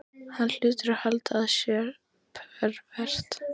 Hann hlýtur að halda að ég sé pervert.